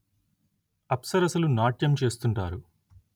అప్సరసలు నాట్యం చేస్తుంటారు